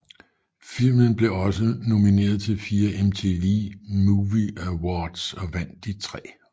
Filmen blev også nomineret til fire MTV Movie Awards og vandt de tre